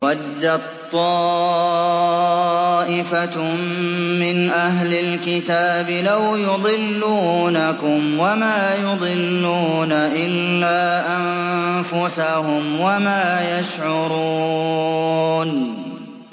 وَدَّت طَّائِفَةٌ مِّنْ أَهْلِ الْكِتَابِ لَوْ يُضِلُّونَكُمْ وَمَا يُضِلُّونَ إِلَّا أَنفُسَهُمْ وَمَا يَشْعُرُونَ